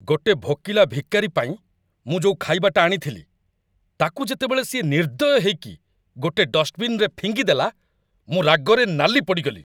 ଗୋଟେ ଭୋକିଲା ଭିକାରି ପାଇଁ ମୁଁ ଯୋଉ ଖାଇବାଟା ଆଣିଥିଲି, ତାକୁ ଯେତେବେଳେ ସିଏ ନିର୍ଦ୍ଦୟ ହେଇକି ଗୋଟେ ଡଷ୍ଟବିନ୍‌ରେ ଫିଙ୍ଗିଦେଲା, ମୁଁ ରାଗରେ ନାଲି ପଡ଼ିଗଲି ।